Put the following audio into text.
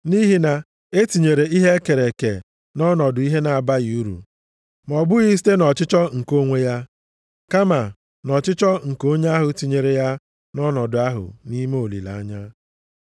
Nʼihi na e tinyere ihe e kere eke nʼọnọdụ ihe na-abaghị uru, ma ọ bụghị site nʼọchịchọ nke onwe ya, kama nʼọchịchọ nke onye ahụ tinyere ya nʼọnọdụ ahụ nʼime olileanya,